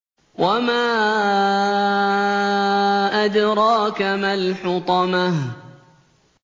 وَمَا أَدْرَاكَ مَا الْحُطَمَةُ